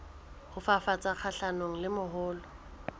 ho fafatsa kgahlanong le mahola